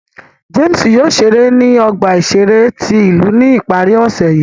James yóò ṣere ni ọgba iṣere ti ilu ni ipari ọse yii.